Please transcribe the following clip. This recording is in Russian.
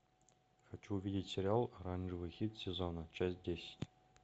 хочу увидеть сериал оранжевый хит сезона часть десять